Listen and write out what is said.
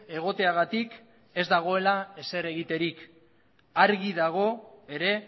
egoteagatik ez dagoela ezer egiterik argi dago ere